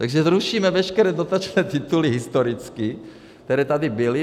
Takže zrušíme veškeré dotační tituly historicky, které tady byly.